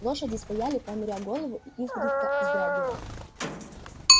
лошади стояли понуря голову и изредка вздрагивая